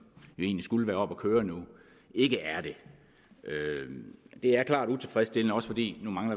egentlig skulle være oppe at køre nu ikke er det det er klart utilfredsstillende også fordi